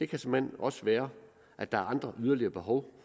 kan såmænd også være at der er andre og yderligere behov